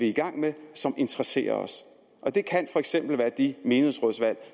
i gang med og som interesserer os og det kan for eksempel være de menighedsrådsvalg